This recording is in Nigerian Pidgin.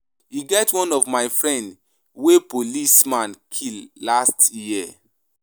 E get one of my friends wey policeman kill last year